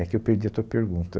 É que eu perdi a tua pergunta.